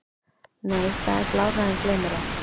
Nei það er blárra en gleymmérei.